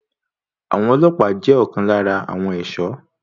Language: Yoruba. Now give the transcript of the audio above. Àwọn ọlọ́pàá jẹ́ ọ̀kan lára àwọn ẹ̀ṣọ́.